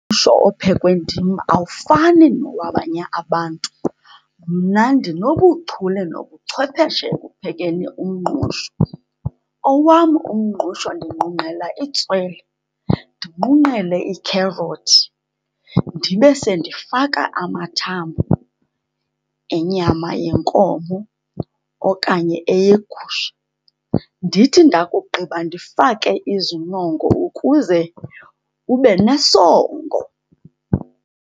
ophekwe ndim awufani nowabanye abantu. Mna ndinobuchule nobuchwepheshe ekuphekeni umngqusho. Owam umngqusho ndinqunqela itswele, ndinqunqele ikherothi, ndibe sendifaka amathambo enyama yenkomo okanye eyegusha. Ndithi ndakugqiba ndifake izinongo ukuze ube nesongo.